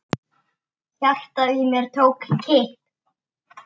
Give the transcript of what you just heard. Hjartað í mér tók kipp.